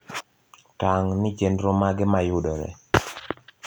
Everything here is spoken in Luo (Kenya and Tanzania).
tang` ni chenro mage mayudore